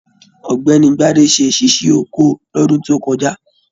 Ọ̀gbẹ́ni Gbade ṣe ṣíṣí oko lọ́dún tó kọjá.